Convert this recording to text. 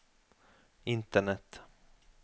internett